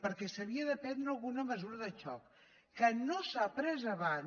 perquè s’havia de prendre alguna mesura de xoc que no s’ha pres abans